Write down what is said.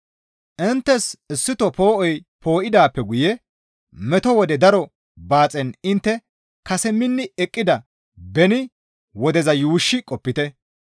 Inttes issito poo7oy poo7idaappe guye meto wode daro baaxen intte kase minni eqqida beni wodeza yuushshi qopite.